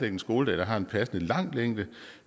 en skoledag der har en passende lang længde